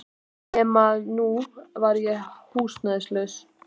Nema að nú var ég húsnæðislaus.